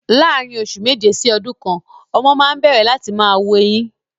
Láàrin oṣù méje sí ọdún kan, ọmọ máa ń n bẹ̀rẹ̀ láti máa wu eyín